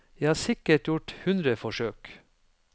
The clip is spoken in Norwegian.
Jeg har sikkert gjort hundre forsøk.